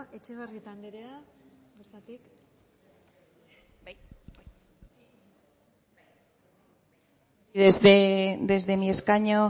anderea etxebarrieta anderea bertatik desde mi escaño